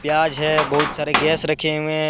प्याज है बहुत सारे गैस रखें हुए हैं।